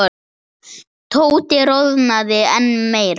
Tóti roðnaði enn meira.